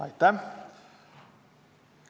Aitäh!